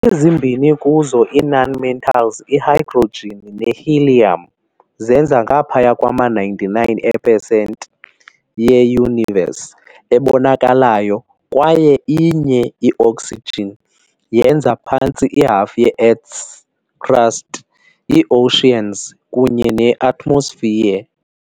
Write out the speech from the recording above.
Ezimbini kuzo ii-nonmetals - i-hydrogen ne-helium - zenza ngaphaya kwama-99 ee-per cent ye-Universe, ebonakalayo kwaye inye - i-oxygen - yenza phantse ihafu ye-Earth's crust, i-oceans kunye ne-atmosphere.